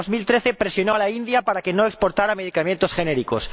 En 2013 presionó a la India para que no exportara medicamentos genéricos.